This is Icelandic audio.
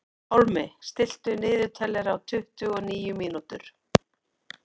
Pálmi, stilltu niðurteljara á tuttugu og níu mínútur.